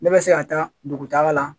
Ne bɛ se ka taa dugutaagala.